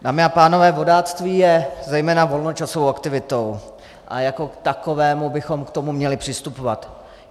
Dámy a pánové, vodáctví je zejména volnočasovou aktivitou a jako k takové bychom k tomu měli přistupovat.